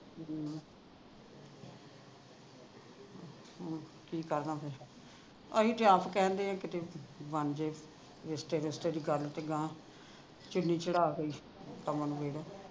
ਕਿ ਪੜ੍ਹਨਾ ਫੇਰ ਅਸੀਂ ਤੇ ਆਪ ਕਹਿਣ ਢਏ ਆ ਕਿਤੇ ਬਣ ਜੇ ਰਿਸ਼ਤੇ ਰੁਸ਼ਤੇ ਦੀ ਗੱਲ ਚੁੰਨੀ ਚੜ੍ਹ ਕੇ ਕੰਮ ਨਵੇੜੋ